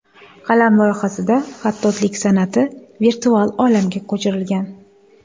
Qalam loyihasida xattotlik san’ati virtual olamga ko‘chirilgan.